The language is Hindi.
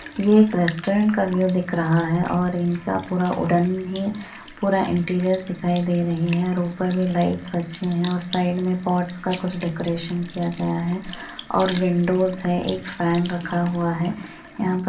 ये एक रेस्ट्रोरेंट का व्यू दिख रहा हे और इनका पूरा ऊडन ही पूरा इंटीरियर्स दिखाई दे रही हे और ऊपर भी लाईटस अच्छी हे और साईड में पॉट्स का कुछ डेकोरेशन किया गया हे और विन्डोस है एक फेन रखा हुआ है यहाँ पर --